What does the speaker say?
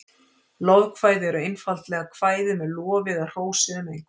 Lofkvæði eru einfaldlega kvæði með lofi eða hrósi um einhvern.